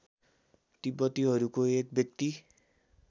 तिब्बतीहरूको एक व्यक्ति